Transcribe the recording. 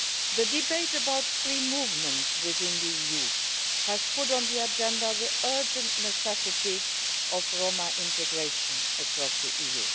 The debate about free movement within the EU has put on the agenda the urgent necessity of Roma integration across the EU.